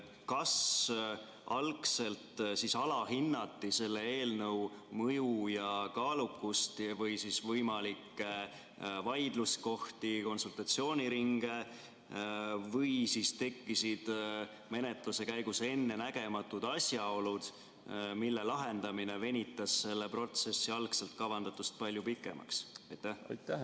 Kas algselt alahinnati selle eelnõu mõju ja kaalukust või võimalikke vaidluskohti, konsultatsiooniringe, või tekkisid menetluse käigus ettenägematud asjaolud, mille lahendamine venitas selle protsessi algselt kavandatust palju pikemaks?